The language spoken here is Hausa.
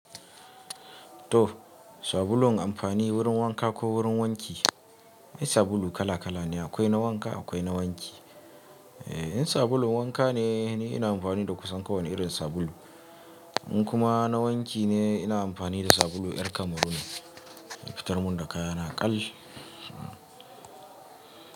To, sabulun amfani wurin wanka ko wurin wanki? Akwai sabulu kala-kala ne, akwai na wanka akwai na wanki. In sabulun wanka ne, ina amfani da kusan kowane irin sabulu. In kuma na wanki ne, ina amfani da sabulu ƴar kamaru ne, ya fitar mun da kaya na ƙal.